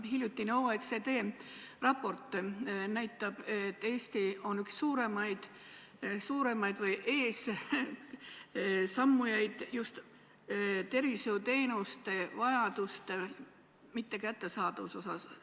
Hiljutine OECD raport näitab, et Eesti on üks eessammujaid just tervishoiuteenuste mittekättesaadavuse poolest.